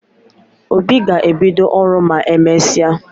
Obi ga ebido oru ma emesia